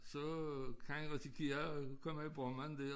Så øh kan han risikere at komme i brummen dér